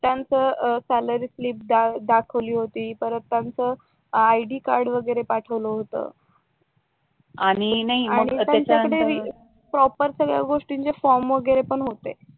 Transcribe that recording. त्यांचं salary slip दाखवली होती परत त्यांचं आयडी कार्ड वगैरे पाठवलं होत प्रॉपर सगळ्या गोष्टींचे सगळे फॉर्म वगैरे पण होते